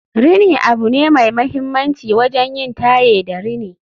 rini abu ne mai mahimmanci wajen yin taye da rini